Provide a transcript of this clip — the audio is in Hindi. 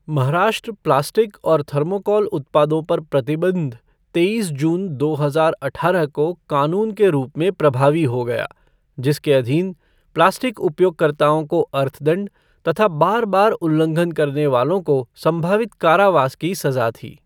महाराष्ट्र प्लास्टिक और थर्माकोल उत्पादों पर प्रतिबंध तेईस जून दो हजार अठारह को कानून के रूप में प्रभावी हो गया, जिसके अधीन प्लास्टिक उपयोगकर्ताओं को अर्थदंड तथा बार बार उल्लंघन करने वालों को संभावित कारावास की सज़ा थी।